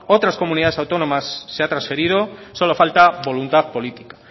otras comunidades autónomas se han transferido solo falta voluntad política